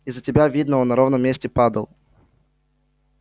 из-за тебя видно он на ровном месте падал